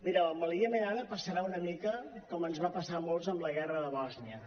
mireu amb el iemen ara passarà una mica com ens va passar a molts amb la guerra de bòsnia